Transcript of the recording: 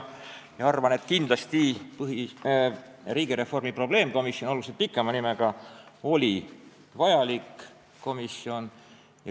Ma arvan, et riigireformi probleemkomisjon, tegelikult küll oluliselt pikema nimega, oli vajalik komisjon.